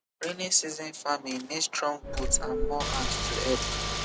rainy season farming need strong boot and more hand to help